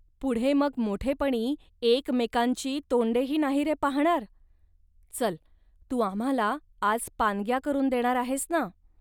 पुढे मग मोठेपणी एकमेकांची तोंडेही नाही रे पहाणार. चल, तू आम्हांला आज पानग्या करून देणार आहेस ना